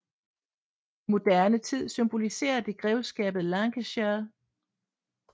I moderne tid symboliserer det grevskabet Lancashire